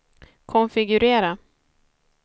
konfigurera